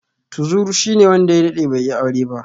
Tuzur shine wanda ya daɗe bai yi aure ba.